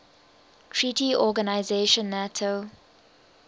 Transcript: treaty organisation nato